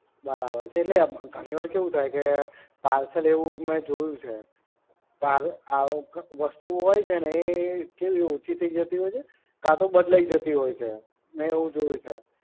બરાબર છે, એટલે ઘણી વાર કેવુ થાય કે parcel એવુ મેં જોયુ છે, વસ્તુ હોય ને એક એવી ઓછી થઈ જતી હોય છે કા તો બદલાય જતી હોય છે. મેં એવુ જોયુ છે.